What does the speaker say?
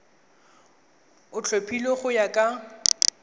o tlhophilweng go ya ka